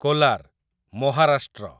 Kolar, Maharashtra